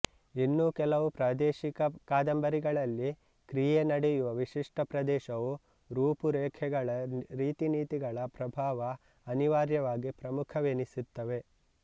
ಇನ್ನು ಕೆಲವು ಪ್ರಾದೇಶಿಕ ಕಾದಂಬರಿಗಳಲ್ಲಿ ಕ್ರಿಯೆ ನಡೆಯುವ ವಿಶಿಷ್ಟ ಪ್ರದೇಶದ ರೂಪು ರೇಖೆಗಳ ರೀತಿನೀತಿಗಳ ಪ್ರಭಾವ ಅನಿವಾರ್ಯವಾಗಿ ಪ್ರಮುಖವೆನಿಸಿತ್ತವೆ